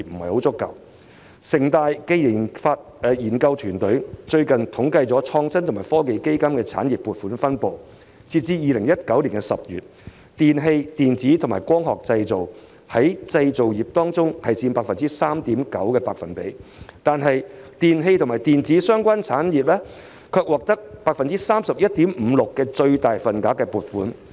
香港城市大學研究團隊最近統計了創新及科技基金的產業撥款分布，截至2019年10月，"電器、電子及光學製品"在製造業當中佔 3.9%， 但電器及電子相關產業卻獲得 31.56% 的最大份額撥款。